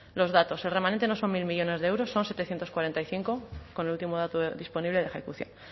los datos el remanente no son mil millónes de euros son setecientos cuarenta y cinco con el último dato disponible de ejecución